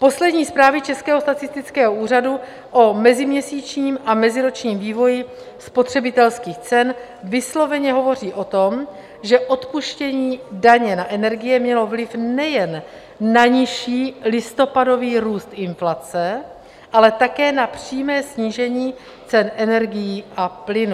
Poslední zprávy Českého statistického úřadu o meziměsíčním a meziročním vývoji spotřebitelských cen vysloveně hovoří o tom, že odpuštění daně na energie mělo vliv nejen na nižší listopadový růst inflace, ale také na přímé snížení cen energií a plynu.